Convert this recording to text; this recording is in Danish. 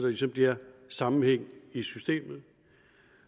ligesom bliver sammenhæng i systemet